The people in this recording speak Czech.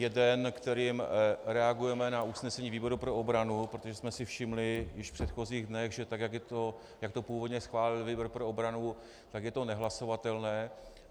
Jeden, kterým reagujeme na usnesení výboru pro obranu, protože jsme si všimli již v předchozích dnech, že tak jak to původně schválil výbor pro obranu, tak je to nehlasovatelné.